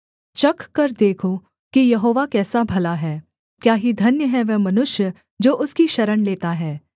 चखकर देखो कि यहोवा कैसा भला है क्या ही धन्य है वह मनुष्य जो उसकी शरण लेता है